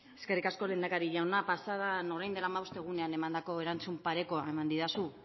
eskerrik asko lehendakari jauna pasadan orain dela hamabost egun emandako erantzun parekoa eman didazu